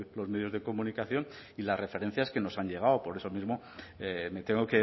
los medios de comunicación y las referencias que nos han llegado por eso mismo me tengo